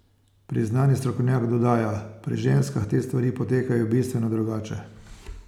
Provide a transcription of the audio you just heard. Priznani strokovnjak dodaja: 'Pri ženskah te stvari potekajo bistveno drugače.